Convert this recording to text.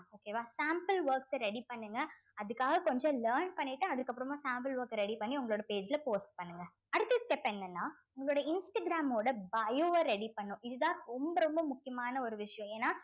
okay வா sample work அ ready பண்ணுங்க அதுக்காக கொஞ்சம் learn பண்ணிட்டு அதுக்கப்புறமா sample work அ ready பண்ணி உங்களோட page ல post பண்ணுங்க அடுத்த step என்னன்னா உங்களோட இன்ஸ்டாகிராம் ஓட bio வ ready பண்ணும் இதுதான் ரொம்ப ரொம்ப முக்கியமான ஒரு விஷயம் ஏன்னா